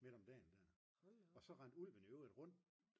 midt om dagen der og så rendte ulven i øvrigt rundt